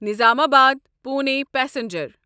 نظام آباد پوٗنے پیسنجر